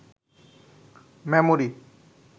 memory